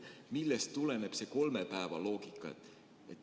Millest tuleneb see kolme päeva loogika?